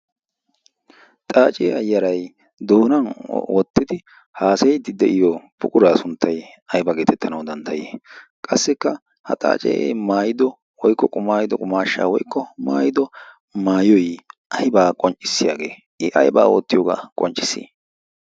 xaaciyaa yaray doonan oottidi haasayiddi de'iyo puquraa sunttay aybaa geetettanawu dandayii qassikka ha xaacee maayido woykko qumaayido qumaashsha woykko maayido maayoy aybaa qonccissiyaagee i aybaa oottiyoogaa qonccis